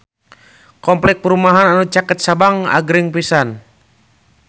Kompleks perumahan anu caket Sabang agreng pisan